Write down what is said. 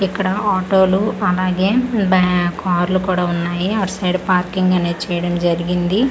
ఇక్కడ ఆటోలు అలాగే బ్యా కార్లు కూడా ఉన్నాయి అటు సైడ్ పార్కింగ్ అనేది చేయడం జరిగింది.